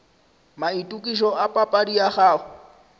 maitokišo a papadi ya gago